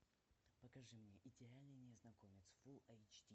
покажи мне идеальный незнакомец фул эйч ди